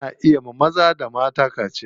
Ana iya wa maza da mata kaciya.